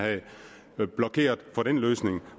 havde blokeret for den løsning